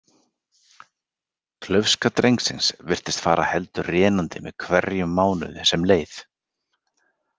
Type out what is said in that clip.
Klaufska drengsins virtist fara heldur rénandi með hverjum mánuði sem leið.